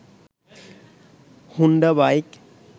Honda bike